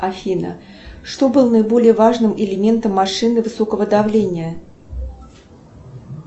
афина что было наиболее важным элементом машины высокого давления